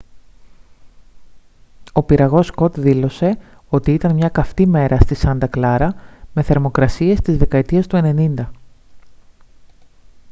ο πυραγός scott δήλωσε ότι «ήταν μια καυτή μέρα στη σάντα κλάρα με θερμοκρασίες της δεκαετίας του 90